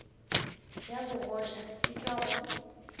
ya bogoja e tšwa go